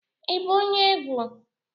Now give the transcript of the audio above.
Ị bụ onye egwu?